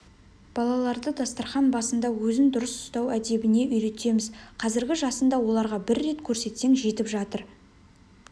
балаларды дастарқан басында өзін дұрыс ұстау әдебіне үйретеміз қазіргі жасында оларға бір рет көрсетсең жетіп жатыр